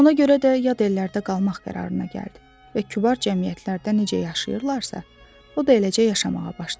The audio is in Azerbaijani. Ona görə də yad ellərdə qalmaq qərarına gəldi və kübar cəmiyyətlərdə necə yaşayırlarsa, o da eləcə yaşamağa başladı.